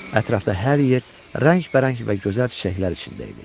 Ətrafda hər yer rəngbərəng və gözəl çiçəklər içində idi.